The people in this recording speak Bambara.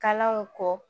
Kalanw kɔ